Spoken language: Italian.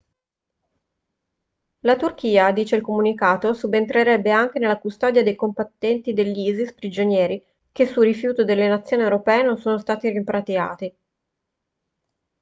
la turchia dice il comunicato subentrerebbe anche nella custodia dei combattenti dell'isis prigionieri che su rifiuto delle nazioni europee non sono stati rimpatriati